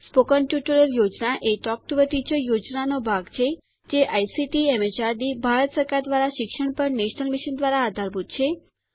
spoken tutorial યોજના એ talk to a teacher યોજનાનો ભાગ છે જે આઇસીટીએમએચઆરડીભારત સરકાર દ્વારા શિક્ષણ પર નેશનલ મિશન દ્વારા આધારભૂત છે